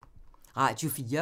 Radio 4